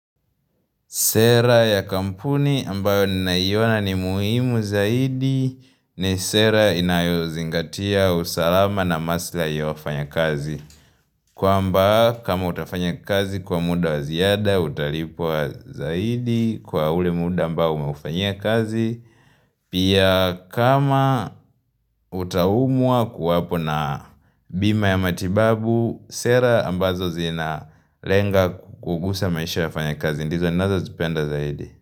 Sera ya kampuni ambayo ninaiona ni muhimu zaidi ni sera inayozingatia usalama na maslahi ya wafanya kazi. Kwamba kama utafanya kazi kwa muda waziada, utalipwa zaidi kwa ule muda ambayo umeufanyia kazi. Pia kama utaumwa kuwapo na bima ya matibabu, sera ambazo zina lenga kukugusa maisha wafanya kazi. Ndizo inazo tupenda zaidi.